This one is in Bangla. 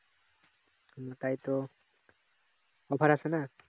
তাই তো আসেনা